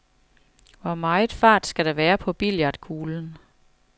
Hvor meget fart skal der være på billiardkuglen?